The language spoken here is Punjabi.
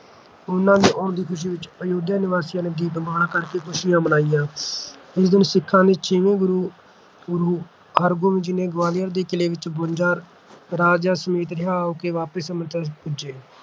ਉਨ੍ਹਾਂ ਦੇ ਆਉਣ ਦੀ ਖ਼ੁਸ਼ੀ ਵਿੱਚ ਅਯੁੱਧਿਆ ਨਿਵਾਸੀਆਂ ਨੇ ਦੀਪਮਾਲਾ ਕਰਕੇ ਖ਼ੁਸ਼ੀਆਂ ਮਨਾਈਆਂ। ਇਸੇ ਦਿਨ ਸਿੱਖਾਂ ਦੇ ਛੇਵੇਂ ਗੁਰੂ ਸ੍ਰੀ ਗੁਰੂ ਹਰਗੋਬਿੰਦ ਸਾਹਿਬ ਜੀ ਗਵਾਲੀਅਰ ਦੇ ਕਿਲ੍ਹੇ ਵਿੱਚੋਂ ਬਵੰਜਾ ਰਾਜਿਆਂ ਸਮੇਤ ਰਿਹਾਅ ਹੋ ਕੇ ਵਾਪਸ ਅੰਮ੍ਰਿਤਸਰ ਪੁੱਜੇ